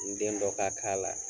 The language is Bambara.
N den dɔ ka la